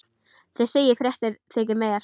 Þið segið fréttir þykir mér!